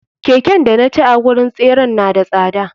Keken danaci a wurin tseren na da tsada.